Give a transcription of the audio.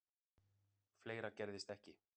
Fleira gerðist ekki.